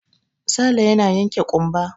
Sale yana yanke ƙumba.